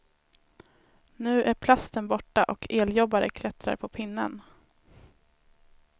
Nu är plasten borta och eljobbare klättrar på pinnen.